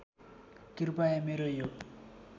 कृपया मेरो यो